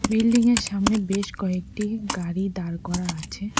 Building -এর সামনে বেশ কয়েকটি গাড়ি দাঁড় করা আছে।